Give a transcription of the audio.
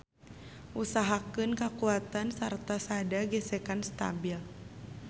Usahakeun kakuatan sarta sada gesekan stabil.